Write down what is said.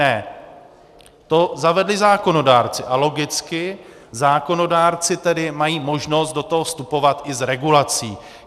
Ne, to zavedli zákonodárci a logicky zákonodárci tedy mají možnost do toho vstupovat i s regulací.